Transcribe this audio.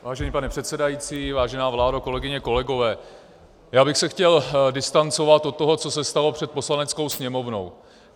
Vážený pane předsedající, vážená vládo, kolegyně, kolegové, já bych se chtěl distancovat od toho, co se stalo před Poslaneckou sněmovnou.